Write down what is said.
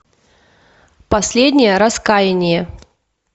последнее раскаяние